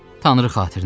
Tanrı xatirinə deyin!